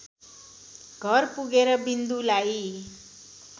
घर पुगेर विन्दुलाई